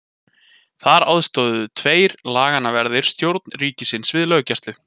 Þar aðstoðuðu tveir laganna verðir stjórn ríkisins við löggæsluna.